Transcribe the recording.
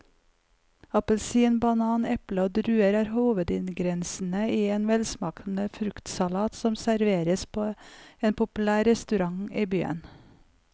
Appelsin, banan, eple og druer er hovedingredienser i en velsmakende fruktsalat som serveres på en populær restaurant i byen.